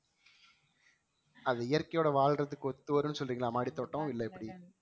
அது இயற்கையோட வாழ்றதுக்கு ஒத்துவரும்னு சொல்றீங்களா மாடித்தோட்டம் இல்ல எப்படி